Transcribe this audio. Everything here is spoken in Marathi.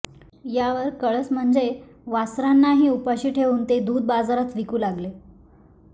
यावर कळस म्हणजे वासरांनाही उपाशी ठेवून ते दूध बाजारात विकू लागले